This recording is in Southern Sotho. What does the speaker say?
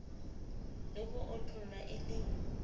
le ho otlwa e le